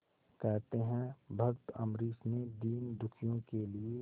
कहते हैं भक्त अम्बरीश ने दीनदुखियों के लिए